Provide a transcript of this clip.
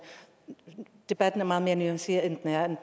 debatten er meget mere nuanceret end